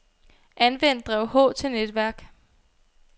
Anvend drev H til netværk.